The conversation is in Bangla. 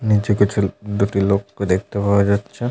নিচে কিছু দুটি লোক কে দেখতে পাওয়া যাচ্ছে ।